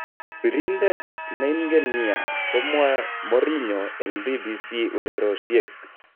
Biridet neinken nia", komwa Mourinho eng BBC ureryoshek